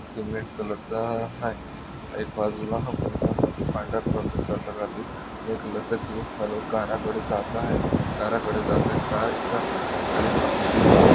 Cement कलरचा हाय एक बाज़ूला हा मुलगा पांढरा कलरचा शर्ट घालून ग्रे कलरचा जिन्स घालून कारा कडे जात आहे कारा कडे जातेत का कार एकाच ठिकाणी थांबलेली दिसत आहे.